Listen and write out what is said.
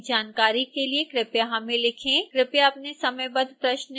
कृपया अपने समयबद्ध प्रश्न इस फ़ोरम में भेजें